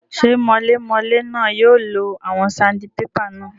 Ṣé mọlémọlé náà yóò lo àwọn sandibébà náà?